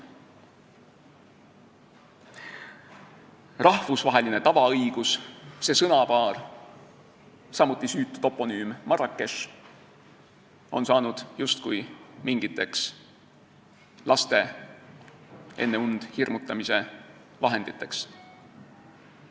Sõnapaar "rahvusvaheline tavaõigus", samuti süütu toponüüm Marrakech on saanud justkui mingiteks laste enne und hirmutamise vahenditeks.